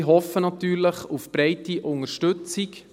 Ich hoffe natürlich auf breite Unterstützung.